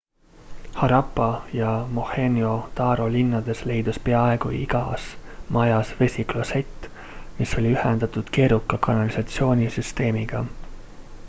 harappa ja mohenjo-daro linnades leidus peaaegu igas majas vesiklosett mis oli ühendatud keeruka kanalisatsioonisüsteemiga